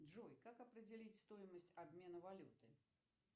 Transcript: джой как определить стоимость обмена валюты